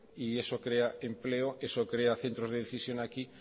y eso crea empleo eso crea centros de decisión aquí